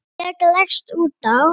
Ég leggst út af.